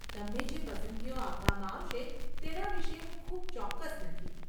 તમને જે પસંદગીઓ આપવામાં આવશે તેના વિશે હું ખૂબ ચોક્કસ નથી.